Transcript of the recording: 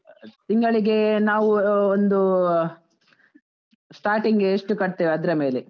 ತಿಂಗಳಿಗೆ ನಾವು ಒಂದು starting ಗೆ ಎಷ್ಟು ಕಟ್ತೇವೆ ಅದ್ರ ಮೇಲೆ.